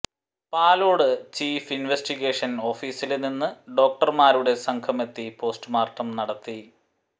Palode chief investigation ഓഫീസില് നിന്ന് ഡോക്ടര്മാരുടെ സംഘമെത്തി പോസ്റ്റുമോര്ട്ടം നടത്തി